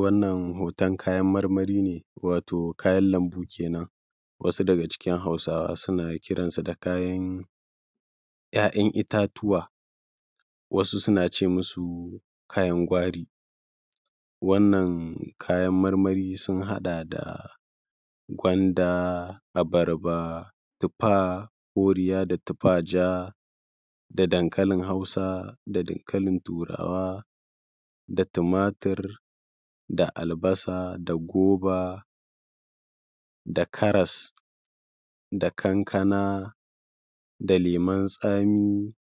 Wannan hotan kayan marmari ne, wato kayan lambu kenan. Wasu daga cikin Hausawa suna kiran shi da ‘ya’yan itatuwa, wasu suna ce musu kayan gwari wannan kayan marmari sun haɗa da gwanda, abarba, tuffa koriya da tufa ja, da dankalin Hausa da dankalin Turawa da tumatur da albasa da gwaiba da karas da kanakana da lemun tsami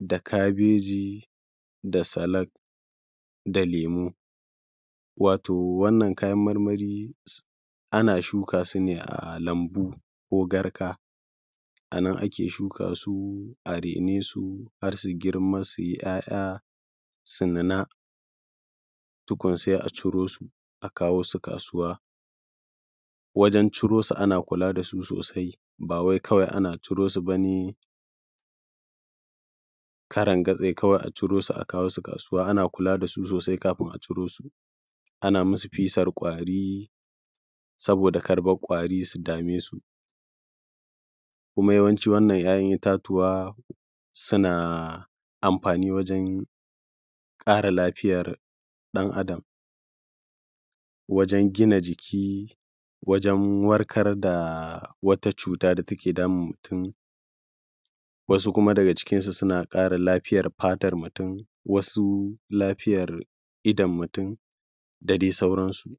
da kabeji da salak da lemu. Wato wannan kayan marmari ana shuka su ne a lambu ko garka a nan ake shuka su, a raine su, har su girma su yi ‘ya’ya sannan tukun sai a ciro su, akawo su kasuwa wajen ciro su. Ana kula da su sosai ba wai kawai ana ciro su ba ne karangatsai kwai ba. A ciro su a kawo su kasuwa, ana kula da su sosai, kafun a ciro su ana musu fisar ƙwari saboda kar ƙwari su dame su kuma yawanci wannan ‘ya’yan itatuwa suna amfani wajen ƙara lafiyar ɗan Adam wajen gina jiki, wajen warkar da wata cuta da take damun mutum. Wasu kuma daga cikinsu suna ƙara lafiyar fatan mutum, wasu lafiyar idan mutum da dai sauransu.